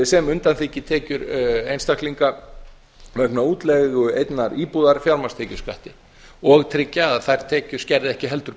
sem undanþiggi tekjur einstaklinga vegna útleigu einnar íbúðar fjármagnstekjuskatti og tryggja að þær tekjur skerði ekki heldur